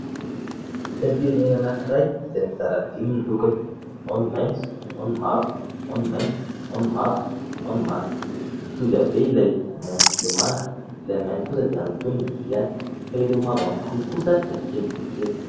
Sainam-pirenena anankiray izay mizara dimy ny lokony ao ny maitso, ao ny mavo, ao ny mainty, ao ny mavo, ao ny manga, mitovy habe ilay maitso sy ilay manga, ilay mainty kosa dia antonony ny habeany, fa ireo mavo anankiroa kosa dia kely dia kely.